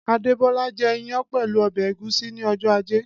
Adébólá jẹ́ ìyàn pẹ̀lú ọbẹ̀ ẹ̀gúsí ni ọjọ́ ajé.